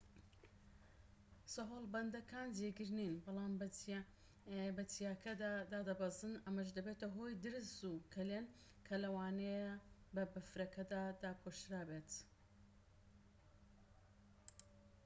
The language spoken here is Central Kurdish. سەهۆڵبەندەکان جێگیر نین بەڵام بە چیاکەدا دادەبەزن ئەمەش دەبێتە هۆی درز و کەلێن کە لەوانەیە بە بەفرەکە داپۆشرا بێت